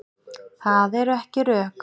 Það eru ekki rök.